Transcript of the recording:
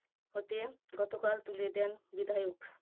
ওদের গতকাল তুলে দেন বিধায়ক।